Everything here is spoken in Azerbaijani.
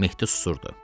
Mehdi susurdu.